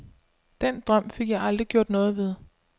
Den drøm fik jeg aldrig gjort noget ved.